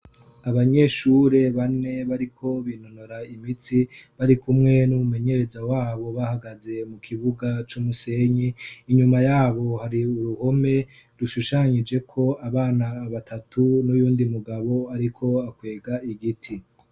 Abanyeshure bane bariko binonora imitsi bari kumwe n'umumenyereza wabo bahagaze mu kibuga c'umusenyi inyuma yabo hari uruhome rushushanyije ko abana batatu n'uyundi mugabo ariko akwega igiti.